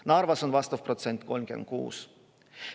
Narvas on vastav protsent 36.